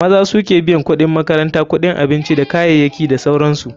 Maza suke biyan kuɗin makaranta, kuɗin abinci dakayayaki da sauransu.